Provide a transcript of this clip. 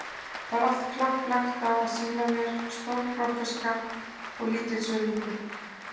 Það er allt kapp lagt á að sýna mér stórbokkaskap og lítilsvirðingu.